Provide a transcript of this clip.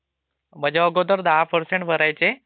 म्हणजे अगोदर मग दहा पर्सेंट भरायचे